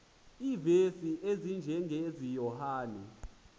iivesi ezinjengezi yohane